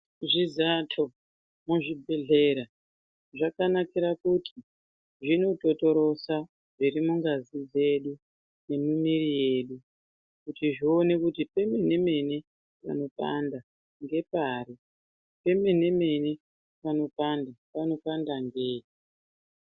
Zvizato muzvibhedhlera zvakanakira kuti zvinototorosa zviri mungazi dzedu nemumiri yedu kuti zvione kuti pemene mene panopanda ngepari pemene mene panopanda panopanda ngei.